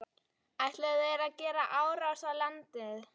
Ætluðu þeir að gera árás á landið?